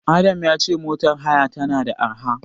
Adam ya ce motar haya tana da arha.